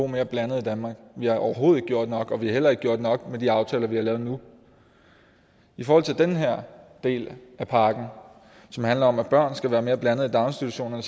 mere blandet i danmark vi har overhovedet ikke gjort nok og vi har heller ikke gjort nok med de aftaler vi har lavet nu i forhold til den her del af pakken som handler om at børn skal gå i mere blandede daginstitutioner